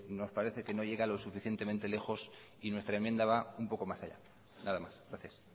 nos parece que no llega lo suficientemente lejos y nuestra enmienda va un poco más allá nada más gracias